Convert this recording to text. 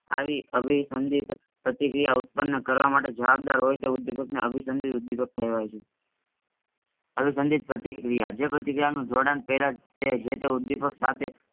આવી અભિસંધિત પ્રતિક્રિયા ઉત્પન્ન કારવામાટે જબાબદાર હોય તે ઉદ્દીપકને અભિસંધિત ઉદ્દીપક કેવાયછે. અભિસંધિત પ્રતિક્રિયા જે પ્રતિક્રિયાનો જોડાણ પેલાતે જેતે ઉદ્દીપકસાથે